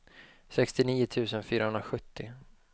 sextionio tusen fyrahundrasjuttio